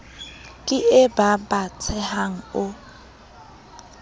ke e ba batsehang o